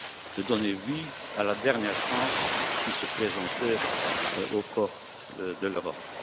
de donner vie à la dernière chance qui se présentait aux portes de l'Europe.